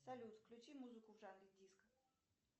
салют включи музыку в жанре диско